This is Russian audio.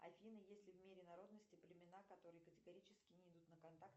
афина есть ли в мире народности племена которые категорически не идут на контакт